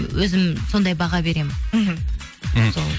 өзім сондай баға беремін мхм мхм сол